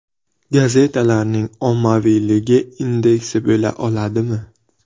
Gazetalarning ommaviyligi indeksi bo‘la oladimi?